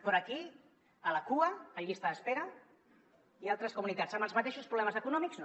però aquí a la cua en llista d’espera i altres comunitats amb els matei·xos problemes econòmics no